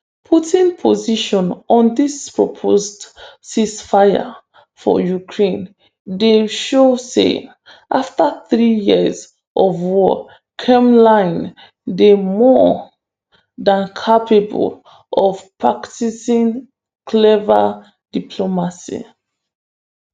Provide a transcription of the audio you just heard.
putin position on dis proposed ceasefire for ukraine dey show say afta three years of war kremlin dey more dan capable of practicing clever diplomacy